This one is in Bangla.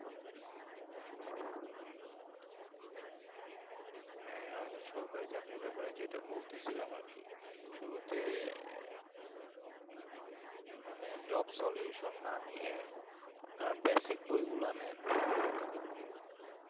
হ্যাঁ আমি সরকারি চাকরির ব্যাপারে যেটা বলতেছিলাম আর কি শুরুতে আহ মানে job solution না নিয়ে আপনার basic বই গুলো নেন